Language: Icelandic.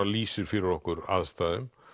lýsir fyrir okkur aðstæðum